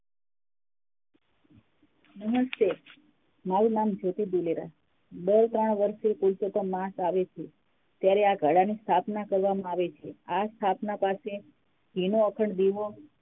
નમસ્તે મારું નામ જ્યોતી દીલેરા બે ત્રણ વરસે પુરુષોત્તમ માસ આવે છે ત્યારે આ ઘડા ની સ્થાપના કરવામાં આવે છે આ સ્થાપના પાસે ઘીનો અખંડ દીવો